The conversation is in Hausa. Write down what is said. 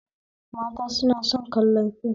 Mata suna son kallon fim